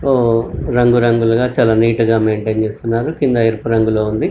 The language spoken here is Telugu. ఓ రంగు రంగులుగా చాలా నీట్ గా మెంటైన్ చేస్తున్నారు కింద ఎరుపు రంగు లో ఉంది.